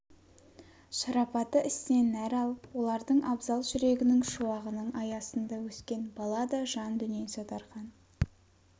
шарапаты ісінен нәр алып олардың абзал жүрегінің шуағының аясында өскен бала да жан дүниесі дарқан